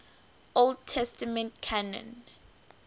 old testament canon